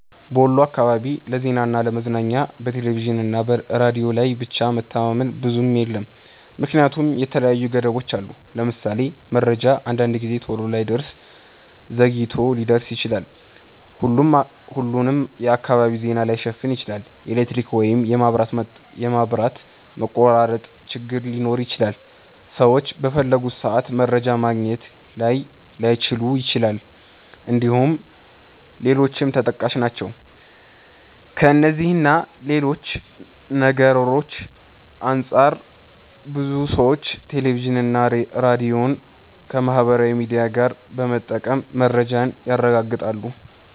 በወሎ አካባቢ ለዜናና ለ ለመዝናኛ በቴሌቪዥንና ሬዲዮ ላይ ብቻ መተማመን ብዙም የለም ምክንያቱም የተለያዩ ገደቦች አሉት። ለምሳሌ:- መረጃ አንዳንድ ጊዜ ቶሎ ላይደርስ ዘግይቶ ሊደርስ ይችላል፣፣ ሁሉንም የአካባቢ ዜና ላይሸፍን ይችላል፣ የኤሌክትሪክ ወይም የመብራት መቆራረጥ ችግር ሊኖር ይችላል፣ ሰዎች በፈለጉት ሰአት መረጃ ማግኘት ላይችሉ ይችላል እንድሁም ሌሎችም ተጠቃሽ ናቸው። ከእነዚህ እና ሌሎች ነገርሮች አንፃር ብዙ ሰዎች ቴሌቪዥንና ሬዲዮን ከማህበራዊ ሚዲያ ጋር በመጠቀም መረጃን ያረጋግጣሉ።